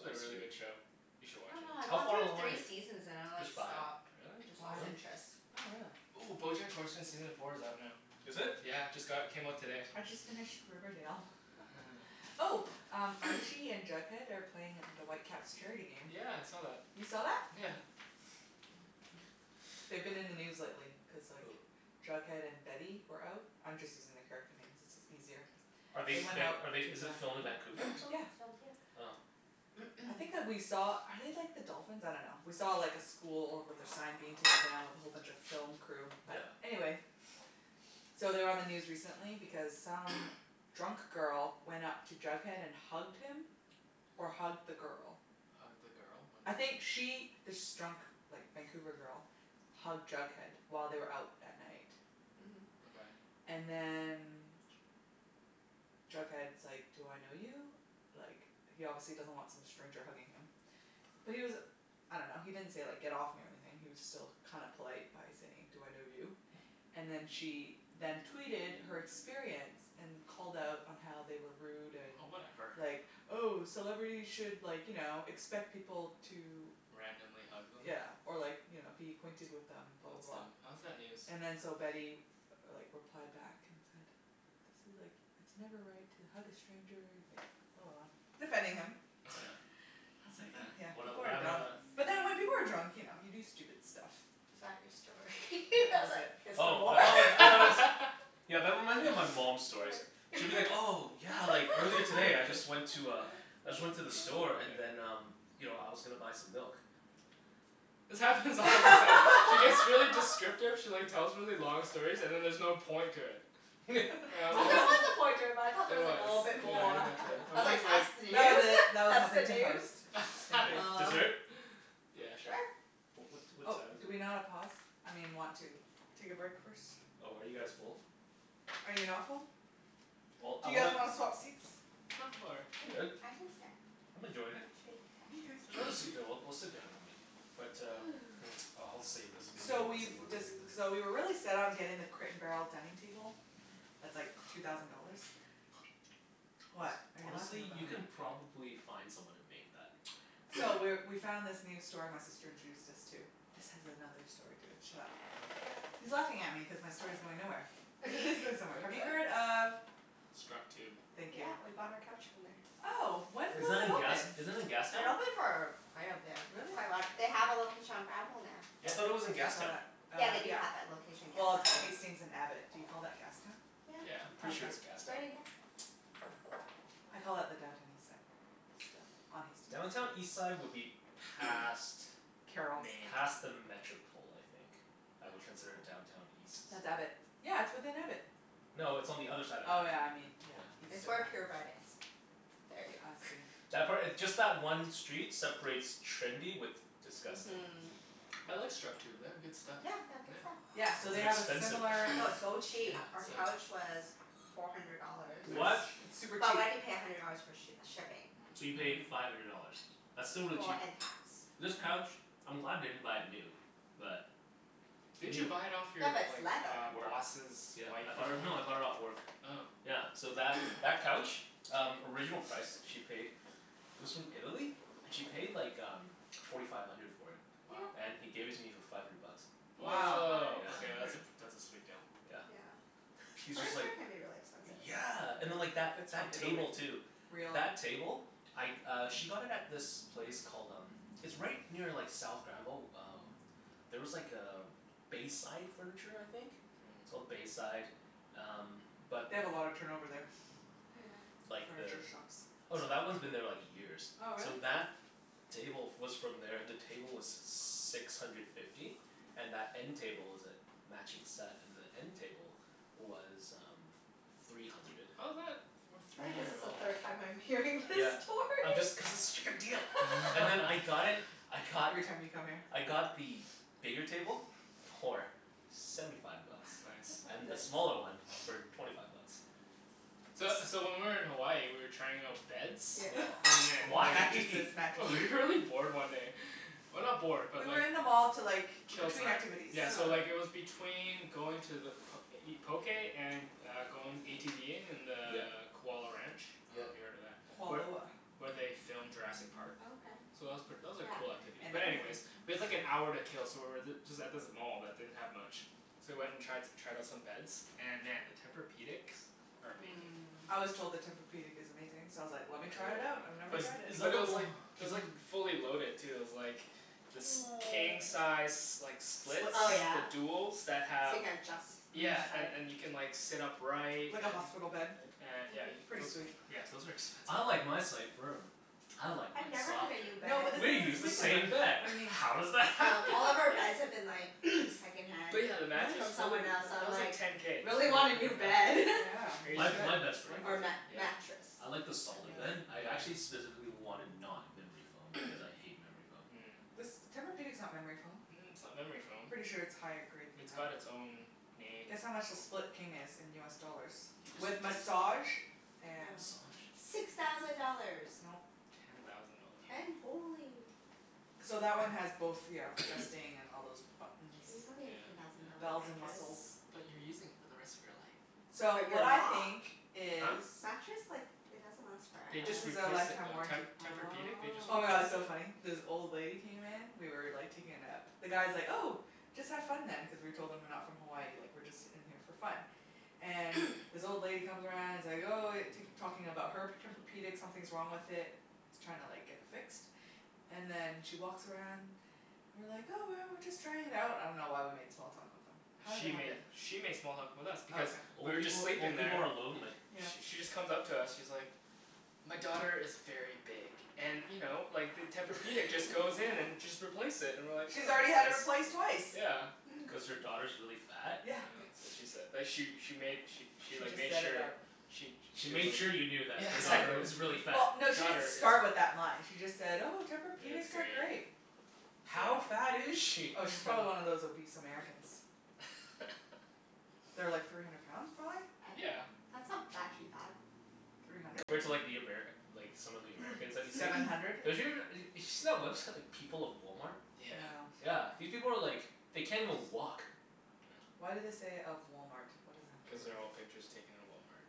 a pretty really sweet. good show. You I should watch dunno, it. I How got far through along are three you? seasons and I like There's five. stopped. Really? Just Why? lost Really? interest. Oh, really? Ooh, Bojack Horseman season four is out now. Is it? Yeah, just got, it came out today. I just finished Riverdale. Oh, Archie and Jughead are playing at the Whitecaps charity game. Yeah, I saw that. You saw that? Yeah. Yeah. They've been in the news lately cuz like Who? Jughead and Betty were out. I'm just using the character names. It's is easier. Are they They went out be- to are they, is it filmed in Vancouver, or That show, something? Yeah. it's filmed here. Oh. I think that we saw, are they like the dolphins? I dunno. We saw like a school with their sign being taken down with a whole bunch of film crew. But, Yeah. anyway So they were on the news recently because some drunk girl went up to Jughead and hugged him or hugged the girl. Hugged the girl? What I do you mean? think she this drunk like Vancouver girl hugged Jughead while they were out at night. Mhm. Okay. And then Jughead's like, "Do I know you?" Like, he obviously doesn't want some stranger hugging him. But he was I dunno, he didn't say like, "Get off me," or anything. He was still kinda polite by saying, "Do I know you?" And then she then tweeted her experience. And called out on how they were rude and Oh, whatever. like, "Oh, celebrities should like, you know, expect people to" Randomly hug them? yeah, or like you know, "be acquainted with them," blah, That's blah, dumb. blah. How is that news? And then so Betty like replied back and said "This is like, it's never right to hug a stranger," and like blah, blah, blah. Defending him. Yeah. I was And like then? huh, yeah, What el- people what are happened dumb. after that? But then when people are drunk, you know, you do stupid stuff. Is that your story? Yeah. I That was was like, it. "Is there Oh, more?" I All thought like, I thought it was right. Yeah, that reminds me of my mom's stories. She'll be like, "Oh, yeah, like earlier today I just went to a I just went to the store and then um you know, I was gonna buy some milk." This happens all the time. She gets really descriptive she like tells really long stories, and then there's no point to it. And I'm Well, always there was a point to it but I thought there There was like a was. little bit Yeah, more. exactly. Yeah. I I'm was always like, like "That's That was news? it. That was That's the Huffington news?" Post. Yeah. Thank Like, you. Oh. dessert? Yeah, sure. Sure. Oh, what what Oh, time is do it? we not a pause? I mean want to take a break first? Oh, are you guys full? Are you not full? Well, Do I you guys wanna wanna swap seats? No, I'm all right. I'm good. I can stand. I'm Actually, enjoying it. Mkay. There's I another should stand. seat there. We'll we'll sit down But um, hmm, Ooh. uh I'll save this. Maybe So I'll have we've some more later. dec- so we were really set on getting the Crate and Barrel dining table. Mhm. That's like two thousand dollars. Hone- What are you laughing honestly? about? You can probably find someone to make that. So, we're we found this new store my sister introduced us to. This has another story to it. Shut up. Okay. He's laughing at me cuz my story's going nowhere. But it is going somewhere. Have you heard of Structube. Thank you. Yeah, we bought our couch from there. Oh, when Is was that it in gas, open? is that in It's Gastown? been open for quite a bit. Really? Quite a while. They have a Yeah. location on Granville now. I thought it was Yeah. in I saw Gastown. that, Yeah, uh, they do yeah. have that location in Well, Gastown it's too. Hmm. Hastings and Abbott. Do you call that Gastown? Yeah. Yeah. Oh, Pretty sure okay. it's Gastown. Right in Gastown. Oh. I call it the Downtown Eastside, still, on Hastings. Downtown Eastside would be past Carrall. Main. past the Metropol, I think. I would consider Metropol? Downtown East- That's Abbott. Yeah, it's within Abbott. No, it's on the other side of Oh Abbott. yeah, I mean, yeah. Yeah. East It's of where that. Pure Bread is. Yeah. There ya I go. see. That part, just that one street separates trendy with disgusting. Mhm. I like Structube. They have good stuff. Yeah, they have good stuff. Yeah. Yeah, so Was they it have a expensive, similar though? No, it's so Yeah, cheap. Our it's like Really? couch was four hundred dollars. Yeah, Nice. they're What? cheap. It's super But cheap. we had to pay a hundred dollars for sh- shipping. So you Mm. paid Mhm. five hundred dollars? That's still really Well, cheap. and tax. Yeah. This couch, I'm glad I didn't buy it new. But Didn't you new buy it off Yeah, your but it's like leather. Work. boss's Yeah. I wife or bought it, no, I bought it off something? work. Oh. Yeah, so that that couch? Um, original price she paid it was from Italy and she paid like um forty five hundred for it. Wow. Yeah. And he gave it to me for five hundred bucks. Nice Wow. Woah, surprise. Yeah. Five okay that's hundred. a pr- that's a sweet deal. Yeah. Yeah. He was just like, Furniture can be really expensive. yeah and then Mhm. like that If it's from that Italy. table, too. Real. That table? I uh she got it at this place called um it's right near like South Granville. Oh there was like a Bayside Furniture, I think? It's Mm. called Bayside, um but They have a lot of turnover there. Yeah. Like the, Furniture shops. oh, no, that one's been there like years. Oh, really? So that table f- was from there. The table was six hundred fifty. And that end table was a matching set. And the end table was um three hundred. How's that worth I three think this hundred is the dollars? third time I'm hearing this Yeah. I'm story. just, cuz it's such a good deal! And then I got it, I got Every time you come here. I got the bigger table for seventy five bucks. It's nice. And the Nice. smaller one for twenty five bucks. So so when we were in Hawaii we were trying out beds Yeah. and then Why? Mattresses. Mattresses. We were really bored one day. Well, not bored, but We were like in the mall to like, Kill between time. activities. Yeah, Yeah. so uh-huh. like it was between going to the p- to eat poké and uh going ATVing in the Yeah. Kualoa Ranch. I Yeah. dunno if you've heard of that? Where Kualoa. where they filmed Jurassic Park. Oh, okay. So that was pret- that was a Yeah. cool activity, And but anyways we had like an everything hour to else. kill so we were th- just at this mall that didn't have much. So we went and tri- tried out some beds. And man, the Tempur-pedics are amazing. Mmm. I was told the Tempur-pedic is amazing, so I was like, I "Let me really try want it out. one. I've never Is But tried it." is that but it the was o- like, it is was that like fully loaded, too. It was like this king size s- like split Split Oh King. the yeah? duals that So you have can adjust Mhm. each Yeah, and side. and you can like sit upright and Like a hospital bed. a- yeah Mhm. you Pretty sweet. c- those are expensive, "I like though. my side firm." "I like I've mine never had softer." a new No bed. but this We use isn't the Sleep Number. same bed. What do you mean? How does that Um, happen? all of our beds have been like second hand But yeah the Really? mattress, from holy, someone else, so that I'm was like like ten k, just really for a want a new frickin' bed. mattress. Yeah, you Crazy. My my should. bed's It's pretty worth Or it. amazing. mat- Yeah? mattress. I like the That piece. solid bed. Yeah. I actually Yeah. specifically wanted not memory foam, cuz I hate memory foam. Mm. This, Tempur-pedic's not memory foam. Mm, it's not memory foam. Pretty sure it's higher grade than It's got that. it's own named Guess how much the foam. Split King is in US dollars? He just said With ten massage and Oh. Massage? Six thousand dollars! Nope. Ten thousand dollars. Ten? Holy. So that one has both, ya know, adjusting, and all those K, buttons. you don't need Yeah. a ten thousand dollar Yeah. Bells and mattress. whistles. But you're using it for the rest of your life. So, But you're what I not. think is Huh? Mattress like, it doesn't last They This forever. just is a replaced it, lifetime though. Te- warranty. Tempur-pedic, they just Oh Oh. my god, it's replaced so funny. it. This old lady came in we were like taking a nap. The guy's like, "Oh, just have fun then" cuz we told him we're not from Hawaii. Like we're just in here for fun. And this old lady comes around and is like, "Oh," tak- talking about her p- Tempur-pedic. Something's wrong with it. She's trying like to get it fixed. And then she walks around and we're like, "Oh, well, we're just trying it out." I dunno why we made small talk with them. How did that She happen? made she made small talk with us Oh, because okay. we Old were just people, sleeping old people there are lonely. Yeah. Sh- she just comes up to us. She's like "My daughter is very big and you know, like the Tempur-pedic just goes in and just replace it." And we're like, She's "Oh, that's already had it nice." replaced twice. Yeah. Mm. Cuz her daughter's really fat? Yeah, Yeah. that's what she said. But she she made she she She like just made said it sure out she She she was made like, sure you knew that yeah, her daughter Yeah. exactly. was really fat. Well, no, she didn't Daughter is start with that line. She just said, "Oh, It's Tempur-pedics are great. great." How fat is Yeah. she? Oh, she's probably one of those obese Americans. They're like three hundred pounds, prolly? A- Yeah. that's not actually bad. Three hundred? Compared to like the Amer- like some of the Americans that you see? Seven hundred. They're us- d- did you see that website People of Walmart? Yeah. Yeah. Yeah. These people are like, they can't even walk. Why do they say, "of Walmart?" What does that have to do Cuz they're with all it? pictures taken in Walmart.